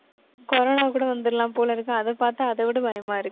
corona கூட வந்திடலாம் போல இருக்கு. அதை பார்த்தா, அதை விட பயமா இருக்கு.